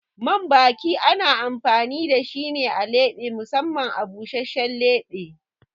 Man baki ana amfani da shi ne a leɓe musamman a busashen leɓe.